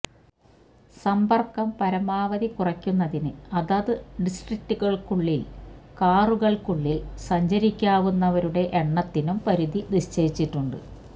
സമ്പർക്കം പരമാവധി കുറക്കുന്നതിന് അതത് ഡിസ്ട്രിക്ടുകൾക്കുള്ളിൽ കാറുകൾക്കുള്ളിൽ സഞ്ചരിക്കാവുന്നവരുടെ എണ്ണത്തിനും പരിധി നിശ്ചയിച്ചിട്ടുണ്ട്